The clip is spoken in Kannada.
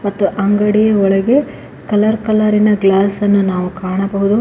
ಮತ್ತು ಅಂಗಡಿಯ ಒಳಗೆ ಕಲರ್ ಕಲರಿನ ಗ್ಲಾಸ್ ಅನ್ನು ನಾವು ಕಾಣಬಹುದು.